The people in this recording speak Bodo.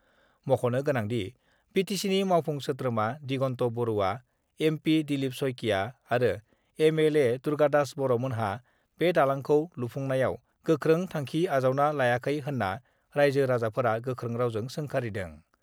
मख'नो गोनांदि, बिटिसिनि मावफुं सोद्रोमा दिगन्त बरुवा, एमपि दिलीप शइकिया आरो एमएलए दुर्गादास बर'मोनहा बे दालांखौ लुफुंनायाव गोख्रों थांखि आजावना लायाखै होन्ना राइजो-राजाफोरा गोख्रों रावजों सोंखारिदों।